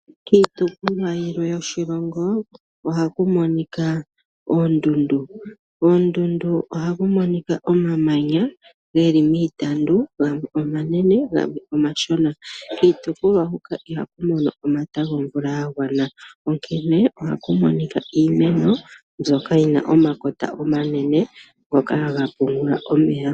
Kiitopolwa yilwe yoshilongo ohaku monika oondundu, koondundu ohaku monika omamanya geli miitandu, gamwe omanene gamwe omashona. Kiitopolwa huka ihaku mono omata gomvula ga gwana onkene ohaku monika iimeno mbyoka yina omakota omanene ngoka haga pungula omeya.